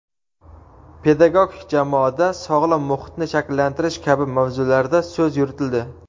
pedagogik jamoada sog‘lom muhitni shakllantirish kabi mavzularda so‘z yuritildi.